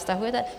Stahujete?